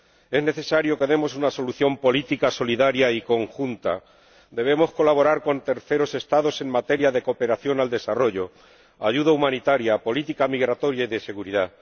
Es necesario que demos una solución política, solidaria y conjunta debemos colaborar con terceros Estados en materia de cooperación al desarrollo, ayuda humanitaria, política migratoria y de seguridad.